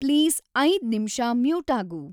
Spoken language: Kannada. ಪ್ಲೀಸ್‌ ಐದ್‌ ನಿಮ್ಷ ಮ್ಯೂಟಾಗು